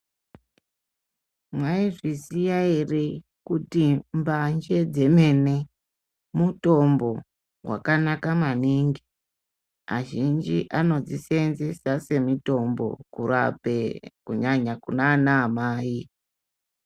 Maizviziva here kuti mbanje Mutombo wakanaka maningi azhinji anodzisenzesa semitombo kurape kunyanya kunana amai.